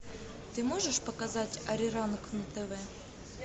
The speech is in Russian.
ты можешь показать ари ранг на тв